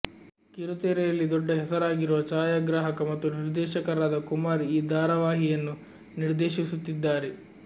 ಕಿರುತೆರೆಯಲ್ಲಿ ದೊಡ್ಡ ಹೆಸರಾಗಿರುವ ಛಾಯಾಗ್ರಾಹಕ ಮತ್ತು ನಿರ್ದೇಶಕರಾದ ಕುಮಾರ್ ಈ ಧಾರಾವಾಹಿಯನ್ನು ನಿರ್ದೇಶಿಸುತ್ತಿದ್ದಾರೆ